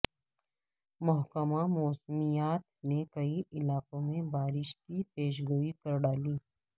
محکمہ موسمیات نے کئی علاقوں میں بارش کی پیشگوئی کرڈالی